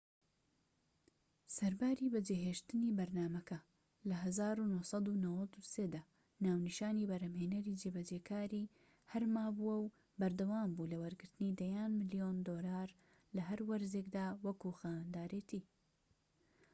سەرباری بەجێهێشتنی بەرنامەکە لە ١٩٩٣ دا، ناونیشانی بەرهەمهێنەری جێبەجێکاری هەر مابوو وە بەردەوامبوو لە وەرگرتنی دەیان ملیۆن دۆلار لە هەر وەرزێكدا وەکو خاوەندارێتی